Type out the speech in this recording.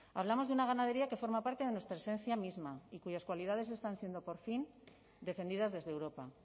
hablamos de una ganadería que forma parte de nuestra esencia misma y cuyas cualidades están siendo por fin defendidas desde europa